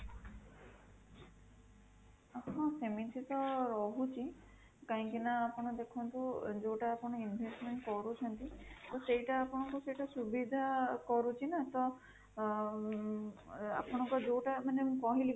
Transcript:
ହଁ ସେମିତି ତ ରହୁଛି କାହିଁକି ନା ଆପଣ ଦେଖନ୍ତୁ ଯୋଉଟା ଆପଣ investment କରୁଛନ୍ତି ସେଇଟା ଆପଣଙ୍କୁ ସୁବିଧା କରୁଛି ନା ତ ଅଁ ଆପଣଙ୍କର ଯୋଉଟା ମାନେ ମୁଁ କହିଲି